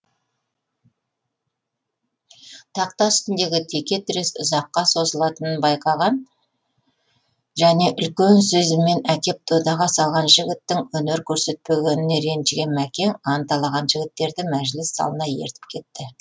тақта үстіндегі теке тірес ұзаққа созылатынын байқаған және үлкен сезіммен әкеп додаға салған жігіттің өнер көрсетпегеніне ренжіген мәкең анталаған жігіттерді мәжіліс залына ертіп кетті